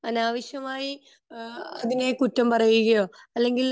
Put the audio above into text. അനാവശ്യമായി ഏഹ്ഹ് അതിനെ കുറ്റം പറയുകയോ അല്ലെങ്കിൽ